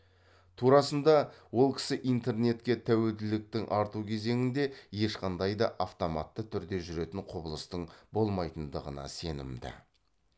турасында ол кісі интернетке тәуелділіктің арту кезеңінде ешқандай да автоматты түрде жүретін құбылыстың болмайтындығына сенімді